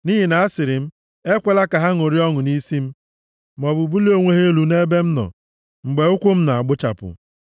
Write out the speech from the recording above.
Nʼihi na asịrị m, “Ekwela ka ha ṅụrịa ọṅụ nʼisi m; maọbụ bulie onwe ha elu nʼebe m nọ mgbe ụkwụ m na-agbuchapụ.”